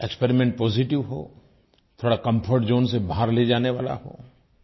experiment positive हो थोड़ा comfort zone से बाहर ले जाने वाला हो